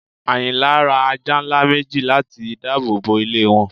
Ayìnlá rá àjà nlá mẹji làti dààbọ bọ ilẹ̀ wọn